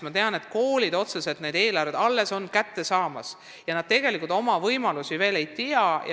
Ma tean, et koolidel ei ole veel eelarve käes ja tegelikult nad veel oma võimalusi täpselt ei tea.